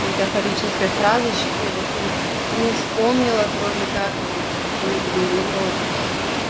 метафорическая фразочки вот и и не вспомнила кроме как вот бери в рот и всё